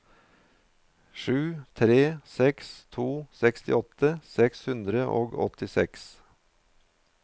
sju tre seks to sekstiåtte seks hundre og åttiseks